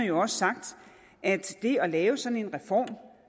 jo også sagt at det at lave sådan en reform